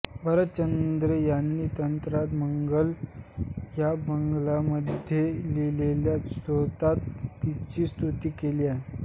भरतचंद्र रे यांनी अन्नदा मंगल या बंगालीमध्ये लिहिलेल्या स्तोत्रात तिची स्तुती केली आहे